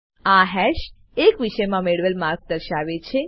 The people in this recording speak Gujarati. આ હાશ એક વિષયમા મેળવેલ માર્ક દર્શાવે છે